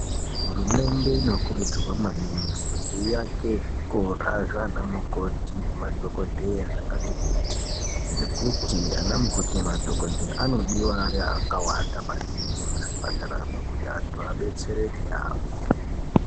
Hurumende inokurudzirwa maningi kuti iake zvikora zvana mukoti nemadhogodheya zvakati kuti. Ngekuti ana mukoti nemadhogodheya anodiva akawanda maningi muzvipataramwo kuti antu adetsereke yaamho.